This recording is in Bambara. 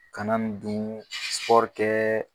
Kana nin dun kɛ.